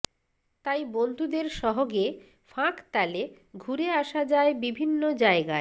তাই বন্ধুদের সহ্গে ফাঁকতালে ঘুরে আসা যায় বিভিন্ন জায়গায়